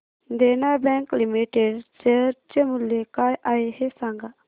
देना Bank Limited share चे मूल्य काय आहे हे सांगा